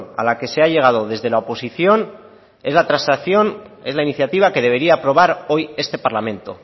a la que se ha llegado desde la oposición es la transacción es la iniciativa que debería aprobar hoy este parlamento